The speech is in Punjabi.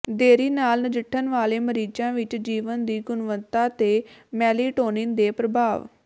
ਦੇਰੀ ਨਾਲ ਨਜਿੱਠਣ ਵਾਲੇ ਮਰੀਜ਼ਾਂ ਵਿਚ ਜੀਵਨ ਦੀ ਗੁਣਵੱਤਾ ਤੇ ਮੇਲੈਟੌਨਿਨ ਦੇ ਪ੍ਰਭਾਵ